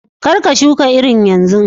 Kar ka shuka irin yanzu!